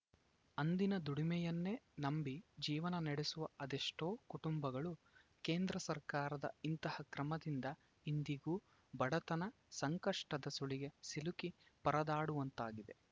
ಅಂದಿನ ದುಡಿಮೆಯನ್ನೇ ನಂಬಿ ಜೀವನ ನಡೆಸುವ ಅದೆಷ್ಟೋ ಕುಟುಂಬಗಳು ಕೇಂದ್ರ ಸರ್ಕಾರದ ಇಂತಹ ಕ್ರಮದಿಂದ ಇಂದಿಗೂ ಬಡತನ ಸಂಕಷ್ಟದ ಸುಳಿಗೆ ಸಿಲುಕಿ ಪರದಾಡುವಂತಾಗಿದೆ